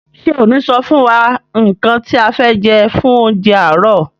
Ṣe o ni sọ fún wa nkán ti a fẹ jẹ fún oúnjẹ aarọ?